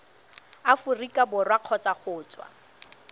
aforika borwa kgotsa go tswa